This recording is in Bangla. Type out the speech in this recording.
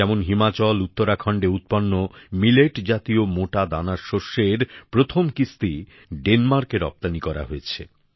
যেমন হিমাচল উত্তরাখণ্ডে উৎপন্ন বাজরা জাতীয় মোটা দানার শস্যের প্রথম কিস্তি ডেনমার্কে রপ্তানী করা হয়েছে